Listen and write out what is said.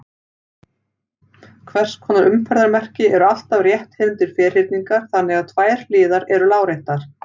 Hvers konar umferðarmerki eru alltaf rétthyrndir ferhyrningar þannig að tvær hliðar eru láréttar?